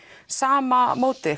sama mótið